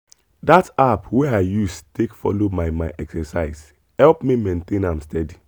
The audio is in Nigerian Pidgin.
that app wey i use take follow my my exercise help me maintain am steady.